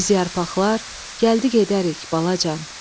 Biz yarpaqlar gəlib-gedərik, balacan.